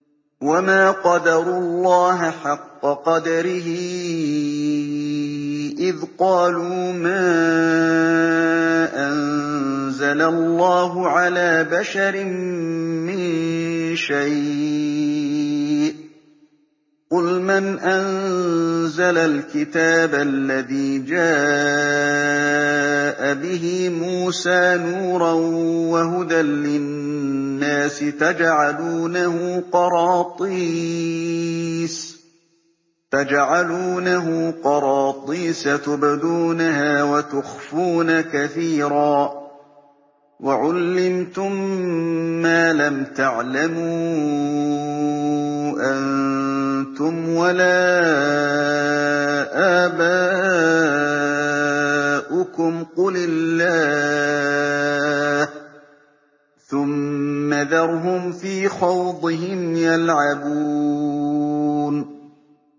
وَمَا قَدَرُوا اللَّهَ حَقَّ قَدْرِهِ إِذْ قَالُوا مَا أَنزَلَ اللَّهُ عَلَىٰ بَشَرٍ مِّن شَيْءٍ ۗ قُلْ مَنْ أَنزَلَ الْكِتَابَ الَّذِي جَاءَ بِهِ مُوسَىٰ نُورًا وَهُدًى لِّلنَّاسِ ۖ تَجْعَلُونَهُ قَرَاطِيسَ تُبْدُونَهَا وَتُخْفُونَ كَثِيرًا ۖ وَعُلِّمْتُم مَّا لَمْ تَعْلَمُوا أَنتُمْ وَلَا آبَاؤُكُمْ ۖ قُلِ اللَّهُ ۖ ثُمَّ ذَرْهُمْ فِي خَوْضِهِمْ يَلْعَبُونَ